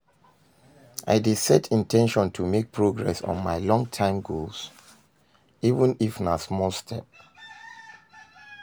I dey set in ten tion to make progress on my long-term goals, even if na small step.